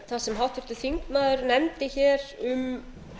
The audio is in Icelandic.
það sem hér þingmaður nefndi hér um